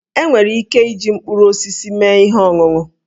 E nwere ike iji mkpụrụ osisi mee ihe ọṅụṅụ